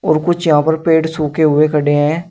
और कुछ यहां पर पेड़ सूखे हुए खड़े हैं।